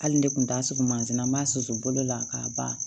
Hali ne kun t'a sutura manzin m'a susu bolo la k'a ban